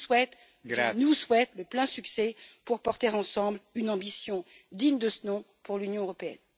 Je vous souhaite et je nous souhaite le plein succès pour porter ensemble une ambition digne de ce nom pour l'Union européenne.